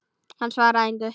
Hann svaraði engu.